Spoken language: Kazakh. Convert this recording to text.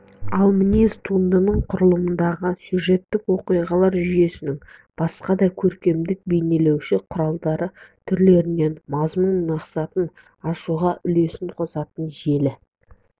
ал мінез туындының құрылымдағы сюжеттік оқиғалар жүйесінің басқа да көркемдік бейнелеуіш құралдар түрлерінің мазмұн-мақсатын ашуға үлесін қосатын желі